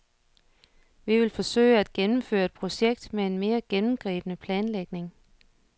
Vi vil forsøge at gennemføre et projekt med en mere gennemgribende planlægning.